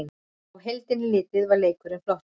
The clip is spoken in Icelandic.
Á heildina litið var leikurinn flottur